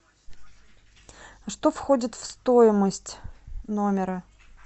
что входит в стоимость номера